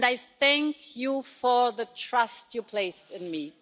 I thank you for the trust you placed in me.